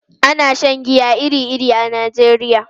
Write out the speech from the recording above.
Ana shan giya iri-iri a Najeriya.